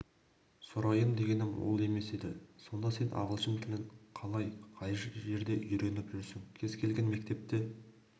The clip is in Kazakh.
сұрайын дегенім ол емес еді сонда сен ағылшын тілін қалай қай жерде үйреніп жүрсің кез-келген мектепте